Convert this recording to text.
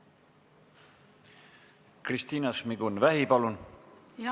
Kristina Šmigun-Vähi, palun!